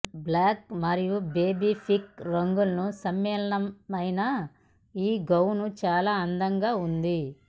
black మరియూ baby pink రంగుల సమ్మేళనమైన ఈ గౌను చాలా అందం గా ఉంది